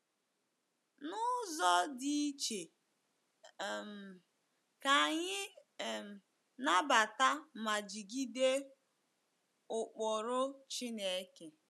N’ụzọ dị iche, um ka anyị um nabata ma jigide ụkpụrụ Chineke.